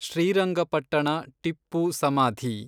ಶ್ರೀರಂಗಪಟ್ಟಣ ಟಿಪ್ಪು ಸಮಾಧಿ